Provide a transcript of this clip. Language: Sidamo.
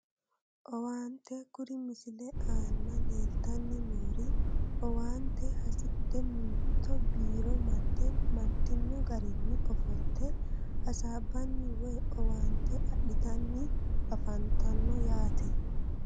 Owaante kuri misile aana leetanni noori owaaante hasidhe mitte biiro marte martino garinni ofolte hasaabbanni woyi owaante adhitanni afantanno yaate